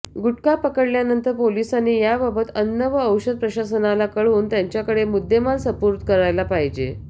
गुटखा पकडल्यानंतर पोलिसांनी याबाबत अन्न व औषध प्रशासनाला कळवून त्यांच्याकडे मुद्देमाल सुपूर्द करायला पाहिजे